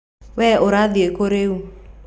Wee ũrathiĩ kũ rĩu?